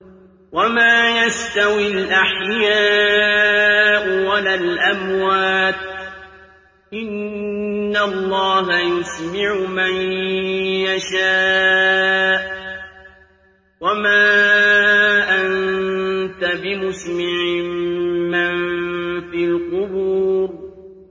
وَمَا يَسْتَوِي الْأَحْيَاءُ وَلَا الْأَمْوَاتُ ۚ إِنَّ اللَّهَ يُسْمِعُ مَن يَشَاءُ ۖ وَمَا أَنتَ بِمُسْمِعٍ مَّن فِي الْقُبُورِ